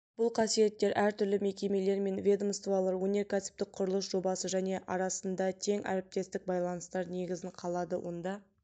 бұл қасиеттер әртүрлі мекемелер мен ведомстволар өнеркәсіптік құрылыс жобасы және арасында тең әріптестік байланыстар негізін қалады онда